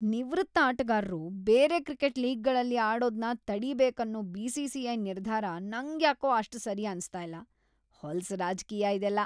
ನಿವೃತ್ತ ಆಟಗಾರ್ರು ಬೇರೆ ಕ್ರಿಕೆಟ್ ಲೀಗ್‌ಗಳಲ್ಲ್ ಆಡೋದ್ನ ತಡಿಬೇಕನ್ನೋ ಬಿ.ಸಿ.ಸಿ.ಐ. ನಿರ್ಧಾರ ನಂಗ್ಯಾಕೋ ಅಷ್ಟ್ ಸರಿ ಅನ್ಸ್ತಾ ಇಲ್ಲ, ಹೊಲ್ಸ್ ರಾಜ್ಕೀಯ ಇದೆಲ್ಲ.